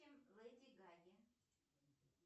леди гаги